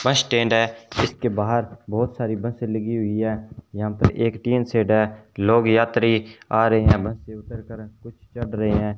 बस स्टैंड है जिसके बाहर बहुत सारी बसें लगी हुई है यहां पर एक टीन शेड है लोग यात्री आ रहे हैं बस से उतर कर कुछ चढ रहे हैं।